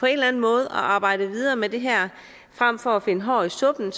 eller anden måde at arbejde videre med det her frem for at finde hår i suppen